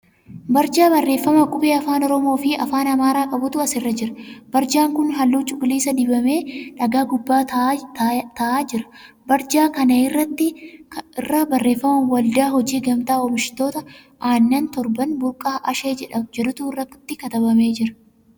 Barjaa barreeffama qubee afaan Oromoo fi afaan Amaaraa qabutu as jira. Barjaan kun halluu cuquliisa dibamee dhagaa gubbaa taa'aa jira. Barjaa kana irra barreeffama' Waldaa Hojii Gamtaa Oomishtoota Aannan Torban Burqaa Ashee' jedhutu irratti katabamee jira.